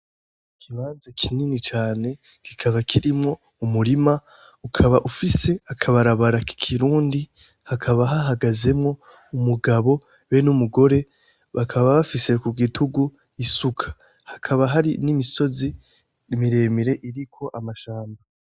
Ikibanza kinini cane kikaba kirimwo umurima ukaba ufise akabarabara k'ikirundi, hakaba hahagazemwo umugabo be n'umugore bakaba bafise kugitugu isuka, hakaba hari n'imisozi miremire iriko amashamba.